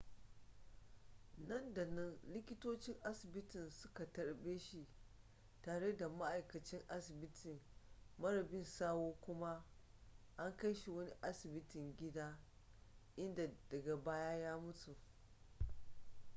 nan da nan likitocin asibitin suka tarbe shi tare da ma'aikacin asibiti mara bi sawu kuma an kai shi wani asibitin gida inda daga baya ya mutu